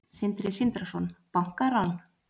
Sindri Sindrason: Bankarán?